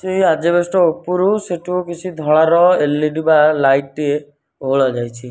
ଏଇ ଆଜବେଷ୍ଟ ଉପୁରୁ ସେଠୁ କିଛି ଧଳାର ଏଲିଡି ବା ଲାଇଟ୍ ଟିଏ ଓହୋଳା ଯାଇଛି।